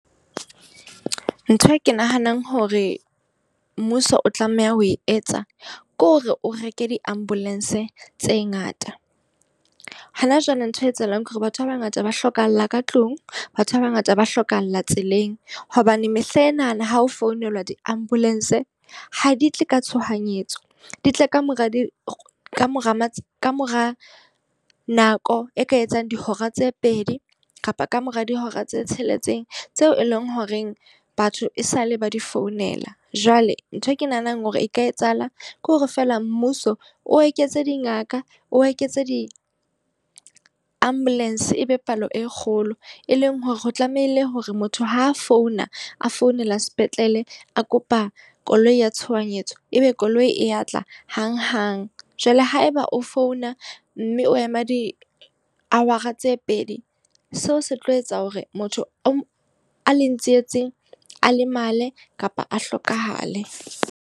Ntho e ke nahanang hore mmuso o tlameha ho e etsa, ke hore o reke di-ambulance tse ngata. Hona jwale nthwe etsahalang ke hore batho ba bangata ba hlokahala ka tlung, ba batho ba bangata ba hlokahala tseleng. Hobane mehla enana ha ho founela di-ambulance ha di tle ka tshohanyetso, di tle kamora di kamora kamora nako e ka etsang dihora tse pedi kapa ka mora dihora tse tsheletseng tseo e leng horeng batho e sale ba di founela. Jwale nthwe ke nahanang hore e ka etsahala ke hore feela mmuso o eketse dingaka, o eketse di-ambulance, ebe palo e kgolo. E leng hore ho tlamehile hore motho ha a founa a founela sepetlele, a kopa koloi a ya tshohanyetso, ebe koloi e atla hang-hang. Jwale haeba o founa mme o ema di-hour-a tse pedi, seo se tlo etsa hore motho o leng tsietseng a lemale kapa a hlokahale.